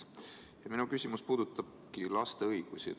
Minu küsimus puudutabki laste õigusi.